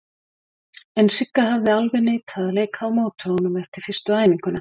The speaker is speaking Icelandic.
En Sigga hafði alveg neitað að leika á móti honum eftir fyrstu æfinguna.